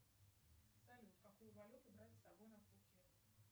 салют какую валюту брать с собой на пхукет